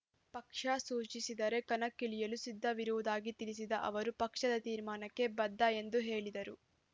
ಪಕ್ಷ ಸೂಚಿಸಿದರೆ ಕಣಕ್ಕಿಳಿಯಲು ಸಿದ್ಧರುವುದಾಗಿ ತಿಳಿಸಿದ ಅವರು ಪಕ್ಷದ ತೀರ್ಮಾನಕ್ಕೆ ಬದ್ಧ ಎಂದು ಹೇಳಿದರು